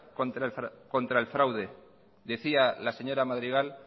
contra el fraude decía la señora madrigal